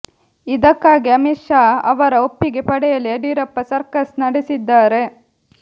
ಇದಕ್ಕಾಗಿ ಅಮಿತ್ ಶಾ ಅವರ ಒಪ್ಪಿಗೆ ಪಡೆಯಲು ಯಡಿಯೂರಪ್ಪ ಸರ್ಕಸ್ ನಡೆಸಿದ್ದಾರೆ